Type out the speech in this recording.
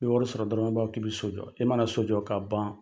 Ni ye wari sɔrɔ dɔrɔn, i b'a fɔ k'i be so jɔ. E mana so jɔ ka ban